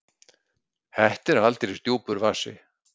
Þetta er aldeilis djúpur vasi!